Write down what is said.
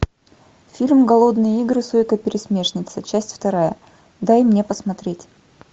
фильм голодные игры сойка пересмешница часть вторая дай мне посмотреть